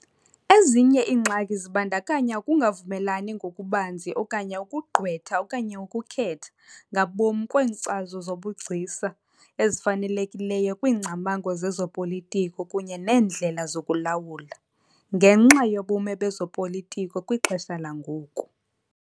Ezinye iingxaki zibandakanya ukungavumelani ngokubanzi okanye " ukugqwetha okanye ukukhetha " ngabom kweenkcazo zobugcisa ezifanelekileyo kwiingcamango zezopolitiko kunye neendlela zokulawula, ngenxa yobume bezopolitiko kwixesha langoku.